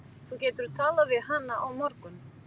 Þú getur talað við hana á morgun.